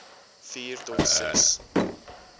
vier tot ses